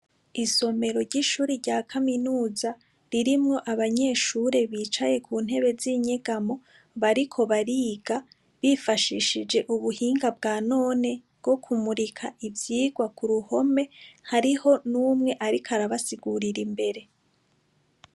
Isomero ry' ishure rya kaminuza, ririmw' abanyeshure bicaye ku ntebe zinyegamo bariko bariga bifashishij' ubuhinga bwa none, bwo kumurik' ivyigwa ku ruhome, hariho n' umw' arik' arabasigurir' imbere.